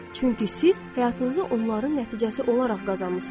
Çünki siz həyatınızı onların nəticəsi olaraq qazanmısınız.